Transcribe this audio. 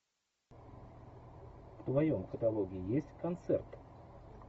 в твоем каталоге есть концерт